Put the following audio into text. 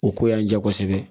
O ko y'an jɛ kosɛbɛ